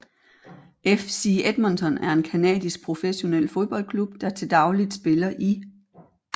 FC Edmonton er en canadisk professionel fodboldklub der til dagligt spiller i